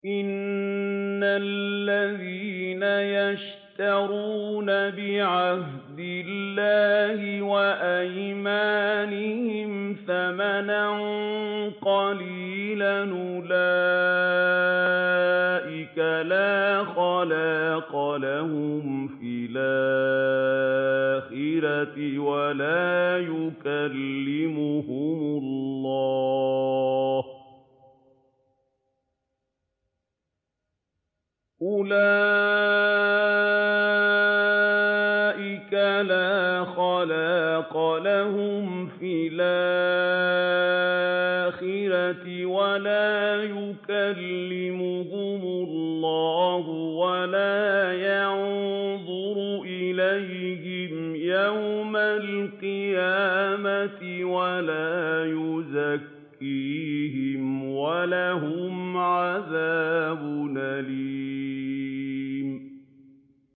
إِنَّ الَّذِينَ يَشْتَرُونَ بِعَهْدِ اللَّهِ وَأَيْمَانِهِمْ ثَمَنًا قَلِيلًا أُولَٰئِكَ لَا خَلَاقَ لَهُمْ فِي الْآخِرَةِ وَلَا يُكَلِّمُهُمُ اللَّهُ وَلَا يَنظُرُ إِلَيْهِمْ يَوْمَ الْقِيَامَةِ وَلَا يُزَكِّيهِمْ وَلَهُمْ عَذَابٌ أَلِيمٌ